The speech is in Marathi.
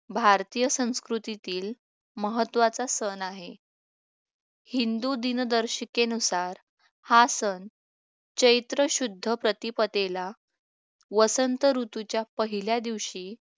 भारतीय संस्कृतीतील महत्त्वाचा सण आहे हिंदू दिनदर्शिकेनुसार हा सण चैत्र शुद्ध प्रतिपदेला वसंत ऋतूच्या पहिल्या दिवशी